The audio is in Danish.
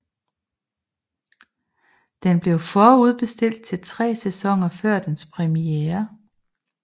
Den blev forudbestilt til tre sæsoner før dens premiere